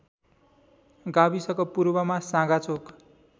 गाविसको पूर्वमा साँगाचोक